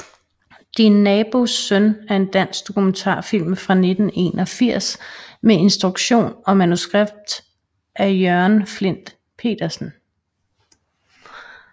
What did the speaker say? Din nabos søn er en dansk dokumentarfilm fra 1981 med instruktion og manuskript af Jørgen Flindt Pedersen